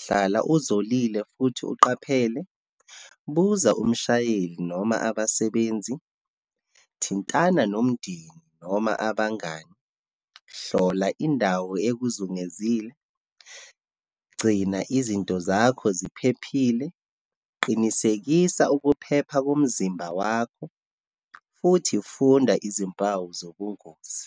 hlala uzolile futhi uqaphele, buza umshayeli noma abasebenzi, thintana nomndeni noma abangani, hlola indawo ekuzungezile, gcina izinto zakho ziphephile, qinisekisa ukuphepha komzimba wakho, futhi funda izimpawu zobungozi.